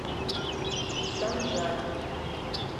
санжар